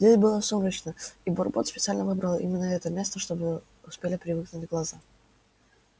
здесь было сумрачно и бурбон специально выбрал именно это место чтобы успели привыкнуть глаза